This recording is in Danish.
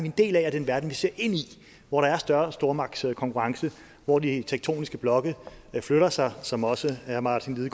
en del af og den verden vi ser ind i hvor der er større stormagtskonkurrence og hvor de tektoniske blokke flytter sig som også herre martin